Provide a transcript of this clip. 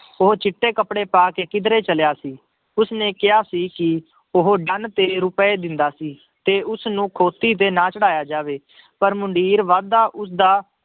ਉਹ ਚਿੱਟੇ ਕੱਪੜੇ ਪਾ ਕੇ ਕਿੱਧਰੇ ਚਲਿਆ ਸੀ, ਉਸਨੇ ਕਿਹਾ ਸੀ ਕਿ ਉਹ ਡੰਨ ਤੇਰੇ ਰੁਪਏ ਦਿੰਦਾ ਸੀ ਤੇ ਉਸਨੂੰ ਖੋਤੀ ਤੇ ਨਾ ਚੜ੍ਹਾਇਆ ਜਾਵੇ ਪਰ ਮੰਡੀਰ ਵਾਧਾ ਉਸਦਾ